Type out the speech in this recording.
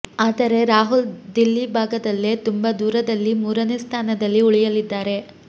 ಆದರೆ ರಾಹುಲ್ ದಿಲ್ಲಿ ಭಾಗದಲ್ಲೇ ತುಂಬಾ ದೂರದಲ್ಲಿ ಮೂರನೇ ಸ್ಥಾನದಲ್ಲಿ ಉಳಿಯಲಿದ್ದಾರೆ